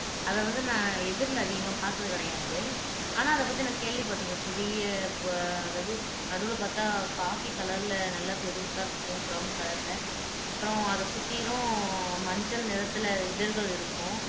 அதை வந்து நான் எதிர்ல அதிகமா பார்த்தது கிடையாது ஆனா அதைப் பத்தி நான் கேள்விப்பட்டிருக்கேன் பெரிய அதாவது நடுவுல பார்த்தா காபி கலர்ல நல்லா பெருசா இருக்கும் பிரௌன் கலர்ல அப்புறம் அதை சுத்தியிலும் மஞ்சள் நிறத்தில இதழ்கள் இருக்கும்